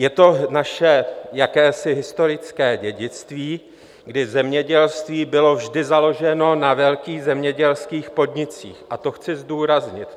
Je to naše jakési historické dědictví, kdy zemědělství bylo vždy založeno na velkých zemědělských podnicích, a to chci zdůraznit.